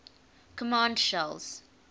command shells